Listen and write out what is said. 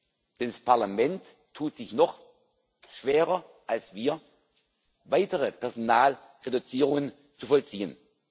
Denn das Parlament tut sich noch schwerer als wir, weitere Personalreduzierungen zu vollziehen.